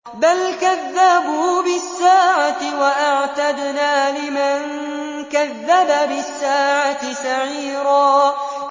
بَلْ كَذَّبُوا بِالسَّاعَةِ ۖ وَأَعْتَدْنَا لِمَن كَذَّبَ بِالسَّاعَةِ سَعِيرًا